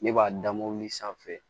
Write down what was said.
Ne b'a da mobili sanfɛ